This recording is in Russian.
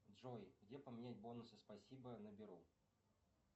джой где поменять бонусы спасибо на беру